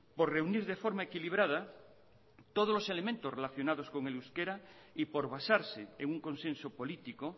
por reunir de forma equilibrada todos los elementos relacionados con el euskera y por basarse en un consenso político